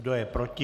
Kdo je proti?